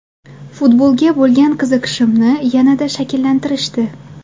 Futbolga bo‘lgan qiziqishimni yanada shakllantirishdi.